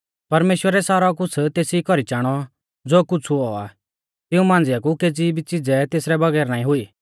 परमेश्‍वरै सारौ कुछ़ तेसी कौरी चाणौ ज़ो कुछ़ हुऔ आ तिऊं मांझ़िआ कु केज़ी भी च़िज़ै तेसरै बगैर नाईं हुई